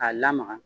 K'a lamaga